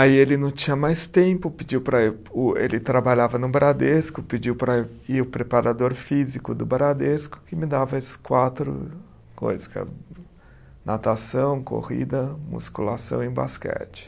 Aí ele não tinha mais tempo, pediu para o, ele trabalhava no Bradesco, pediu para ir o preparador físico do Bradesco, que me dava esses quatro coisa que é, natação, corrida, musculação e basquete.